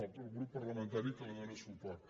el grup parlamentari que li dóna suport